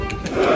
Hopp!